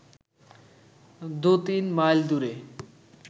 দু-তিন মাইল দূরে